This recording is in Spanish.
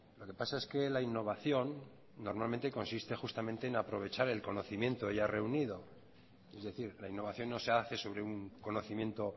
lo que pasa es que la innovación normalmente consiste justamente en aprovechar el conocimiento ya reunido es decir la innovación no se hace sobre un conocimiento